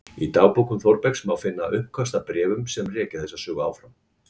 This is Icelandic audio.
Í dagbókum Þórbergs má finna uppköst að bréfum sem rekja þessa sögu áfram